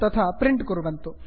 तथा प्रिण्ट् कुर्वन्तु